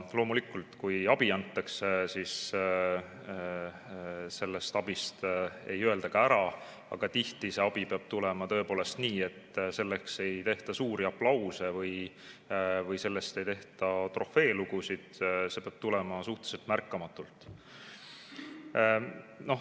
Loomulikult, kui abi antakse, siis sellest abist ei öelda ära, aga tihti see abi peab tulema tõepoolest nii, et sellele ei tehta suuri aplause või sellest ei tehta trofeelugusid – see peab tulema suhteliselt märkamatult.